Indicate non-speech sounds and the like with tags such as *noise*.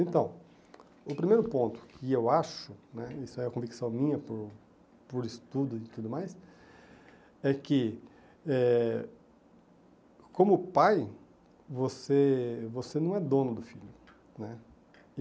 Então, o primeiro ponto, que eu acho né, isso é convicção minha por por estudo e tudo mais, é que eh como pai você você não é dono do filho né. *unintelligible*